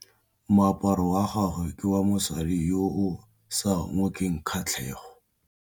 Moaparô wa gagwe ke wa mosadi yo o sa ngôkeng kgatlhegô.